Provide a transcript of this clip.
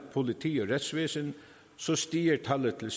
politi og retsvæsen så stiger tallet til